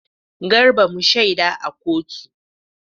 Garba mu shaida a kotu.